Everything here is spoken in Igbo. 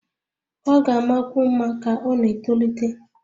Ọ ga-amakwu mma ka ọ na-etolite